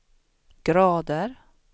grader